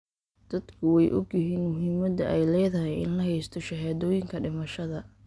Dadku way ogyihiin muhiimadda ay leedahay in la haysto shahaadooyinka dhimashada.